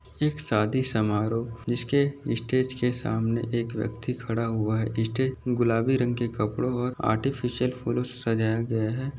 एक शादी समारोह जिसके स्टेज के सामने एक व्यक्ति खड़ा हुआ है स्टेज गुलाबी रंग के कपड़ो और आर्टिफीसियल फूलो से सजाया गया है।